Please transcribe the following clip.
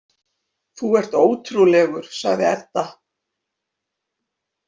Þú ert ótrúlegur, sagði Edda.